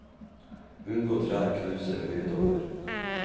Unngå trær, knauser og høye topper.